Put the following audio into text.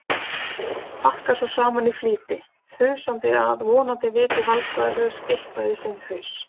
Pakkar svo saman í flýti, þusandi að vonandi viti Valgarður eitthvað í sinn haus.